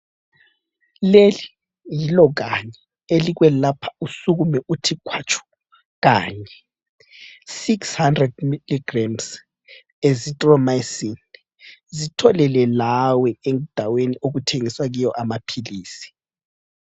Leli yilo kanye elikwelapha usukume uthi khwatshu kanye, 600mg azithromycin zitholele lawe endaweni okuthengiswa kiyo amaphilisi.